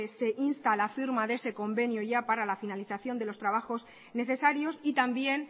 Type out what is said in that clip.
se insta la firma de ese convenio ya para la finalización de los trabajos necesarios y también